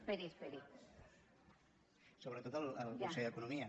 sobretot el conseller d’economia